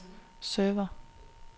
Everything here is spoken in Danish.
server